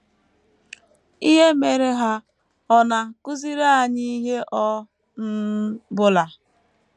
Ihe mere ha ọ̀ na - akụziri anyị ihe ọ um bụla?